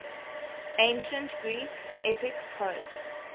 ancient greek epic poets